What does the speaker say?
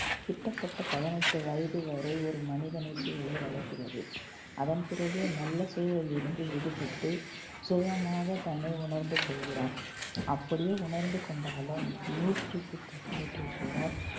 கிட்டத்தட்ட பதினெட்டு வயது வரை ஒரு மனிதனை சூழலே வளர்க்கிறது. அதன்பிறகே நல்ல சூழலில் இருந்து விடுபட்டு சுயமாக தன்னை உணர்ந்து கொள்கிறான். அப்படியே உணர்ந்து கொண்டாலும் நூற்றுக்கு நூற்றுக்கு ஒரு ஆள்